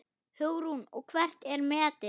Hugrún: Og hvert er metið?